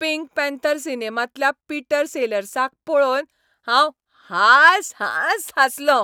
Pink Panther सिनेमांतल्या Peter सेलर्साक पळोवन हांव हांस हांस हांसलो.